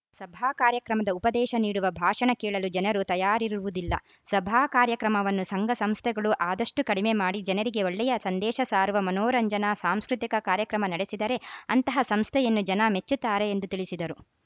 ಸಭಾ ಕಾರ್ಯಕ್ರಮದ ಉಪದೇಶ ನೀಡುವ ಭಾಷಣ ಕೇಳಲು ಜನರು ತಯಾರಿರುವುದಿಲ್ಲ ಸಭಾ ಕಾರ್ಯಕ್ರಮವನ್ನು ಸಂಘ ಸಂಸ್ಥೆಗಳು ಆದಷ್ಟುಕಡಿಮೆ ಮಾಡಿ ಜನರಿಗೆ ಒಳ್ಳೆಯ ಸಂದೇಶ ಸಾರುವ ಮನೋರಂಜನಾ ಸಾಂಸ್ಕೃತಿಕ ಕಾರ್ಯಕ್ರಮ ನಡೆಸಿದರೆ ಅಂತಹ ಸಂಸ್ಥೆಯನ್ನು ಜನ ಮೆಚ್ಚುತ್ತಾರೆ ಎಂದು ತಿಳಿಸಿದರು